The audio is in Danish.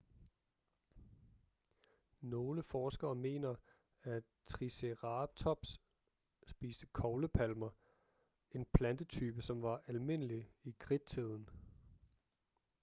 nogle forskere mener at triceratops spiste koglepalmer en plantetype som var almindelig i kridttiden